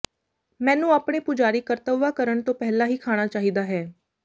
ਮੈਨੂੰ ਆਪਣੇ ਪੁਜਾਰੀ ਕਰਤੱਵਾਂ ਕਰਨ ਤੋਂ ਪਹਿਲਾਂ ਹੀ ਖਾਣਾ ਚਾਹੀਦਾ ਹੈ